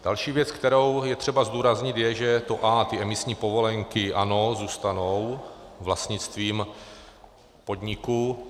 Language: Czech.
Další věc, kterou je třeba zdůraznit, je, že to a, ty emisní povolenky, ano, zůstanou vlastnictvím podniku.